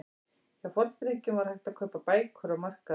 Hjá Forngrikkjum var hægt að kaupa bækur á markaði.